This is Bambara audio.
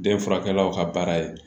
Den furakɛkɛlaw ka baara ye